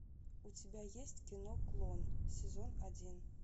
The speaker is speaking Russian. у тебя есть кино клон сезон один